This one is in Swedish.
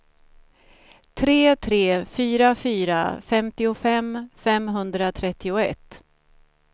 tre tre fyra fyra femtiofem femhundratrettioett